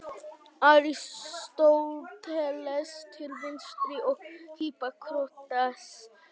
Aristóteles til vinstri og Hippókrates til hægri.